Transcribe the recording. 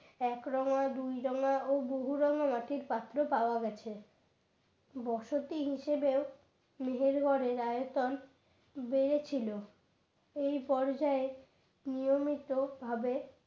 এক রঙা দুই রঙা ও বহুর রঙা মাটির পাত্র পাওয়া গেছে বসতি হিসেবেও মেহেরগড়ের আয়তন বেড়েছিল এই পর্যায়ে নিয়মিত ভাবে